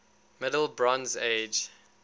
middle bronze age